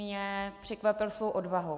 Mě překvapil svou odvahou.